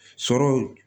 Sɔrɔ